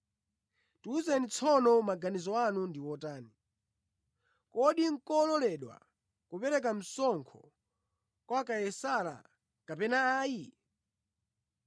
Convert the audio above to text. Tiwuzeni tsono maganizo anu ndi otani, kodi nʼkololedwa kupereka msonkho kwa Kaisara kapena ayi?”